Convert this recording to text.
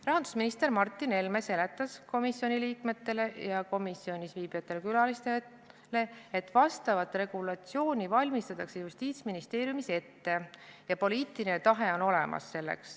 Rahandusminister Martin Helme seletas komisjoni liikmetele ja komisjonis viibivatele külalistele, et vastavat regulatsiooni valmistatakse Justiitsministeeriumis ette ja poliitiline tahe on olemas.